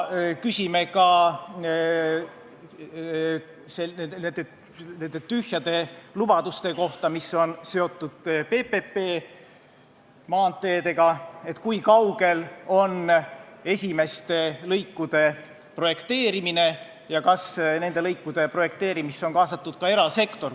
Küsime ka nende tühjade lubaduste kohta, mis on seotud PPP-maanteedega: kui kaugel on esimeste lõikude projekteerimine ja kas nende lõikude projekteerimisse on kaasatud ka erasektor.